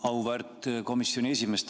Auväärt komisjoni esimees!